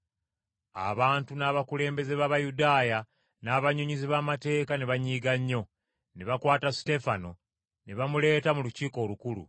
Abantu n’abakulembeze b’Abayudaaya n’abannyonnyozi b’amateeka ne banyiiga nnyo. Ne bakwata Suteefano ne bamuleeta mu Lukiiko Olukulu.